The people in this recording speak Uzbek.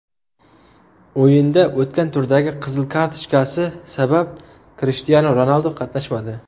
O‘yinda o‘tgan turdagi qizil kartochkasi sabab Krishtianu Ronaldu qatnashmadi.